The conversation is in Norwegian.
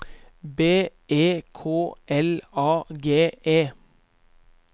B E K L A G E